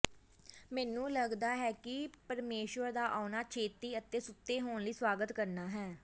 ਮੈਨੂੰ ਲਗਦਾ ਹੈ ਕਿ ਪਰਮੇਸ਼ੁਰ ਦਾ ਆਉਣਾ ਛੇਤੀ ਅਤੇ ਸੁੱਤੇ ਹੋਣ ਲਈ ਸਵਾਗਤ ਕਰਨਾ ਹੈ